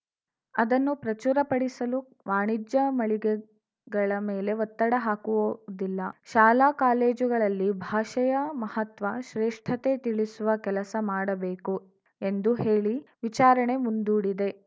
ಅದನ್ನು ಪ್ರಚುರಪಡಿಸಲು ವಾಣಿಜ್ಯ ಮಳಿಗೆಗಳ ಮೇಲೆ ಒತ್ತಡ ಹಾಕುವದಿಲ್ಲ ಶಾಲಾ ಕಾಲೇಜುಗಳಲ್ಲಿ ಭಾಷೆಯ ಮಹತ್ವ ಶ್ರೇಷ್ಠತೆ ತಿಳಿಸುವ ಕೆಲಸ ಮಾಡಬೇಕು ಎಂದು ಹೇಳಿ ವಿಚಾರಣೆ ಮುಂದೂಡಿದೆ